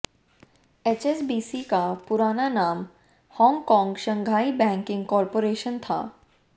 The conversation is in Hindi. एचएसबीसी का पुराना नाम हांगकांग शंघाई बैंकिंग कॉरपोरेशन था